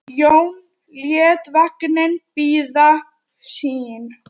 Jón lét vagninn bíða sín.